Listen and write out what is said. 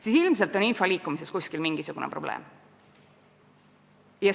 siis ilmselt on info liikumises kuskil mingisugune probleem.